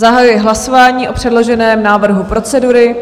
Zahajuji hlasování o předloženém návrhu procedury.